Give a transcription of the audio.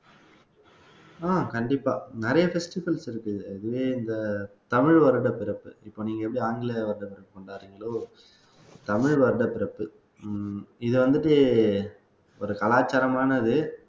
ஆஹ் கண்டிப்பா நிறைய festivals இருக்கு அதுவே இந்த தமிழ் வருடப்பிறப்பு இப்ப நீங்க எப்படி ஆங்கில வருடப்பிறப்பு கொண்டாடுறீங்களோ தமிழ் வருட பிறப்பு ஹம் இத வந்துட்டு ஒரு கலாச்சாரமானது